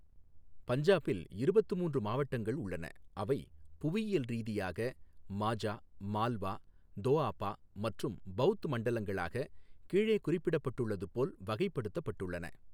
பஞ்சாபில் இருபத்து மூன்று மாவட்டங்கள் உள்ளன, அவை புவியியல் ரீதியாக மாஜா, மால்வா, தோஆபா மற்றும் பௌத் மண்டலங்களாக கீழே குறிப்பிட்டுள்ளது போல் வகைப்படுத்தப்பட்டுள்ளன.